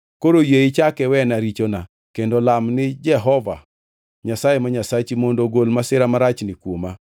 koro yie ichak iwena richona kendo lam ni Jehova Nyasaye ma Nyasachi mondo ogol masira marachni kuoma.”